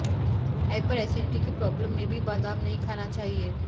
hyper acidity की problem में भी बादाम नहीं खाना चाहिए